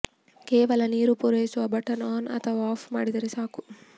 ಕೇವಲ ನೀರು ಪೂರೈಸುವ ಬಟನ್ ಆನ್ ಅಥವಾ ಆಫ್ ಮಾಡಿದರೆ ಸಾಕು